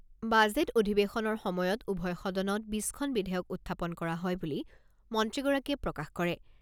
Budget অধিৱেশনৰ সময়ত উভয় সদনত বিছখন বিধেয়ক উত্থাপন কৰা হয় বুলি মন্ত্ৰীগৰাকীয়ে প্ৰকাশ কৰে।